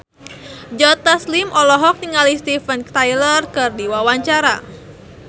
Joe Taslim olohok ningali Steven Tyler keur diwawancara